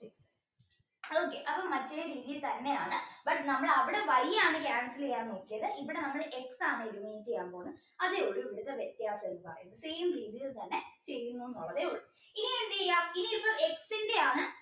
okay അപ്പോ മറ്റേ രീതിയിൽ തന്നെയാണ് but നമ്മൾ അവിടെ Y ആണ് cancel ചെയ്യാൻ നോക്കിയത് ഇവിടെ നമ്മൾ X ആണ് eliminate ചെയ്യാൻ പോകുന്നത് അതേയുള്ളൂ ഇവിടത്തെ വ്യത്യാസം രീതിയിൽ തന്നെ ചെയ്യുന്നു എന്നേയുള്ളൂ ഇനി എന്ത് ചെയ്യാം X ആണ്